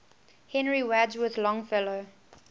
henry wadsworth longfellow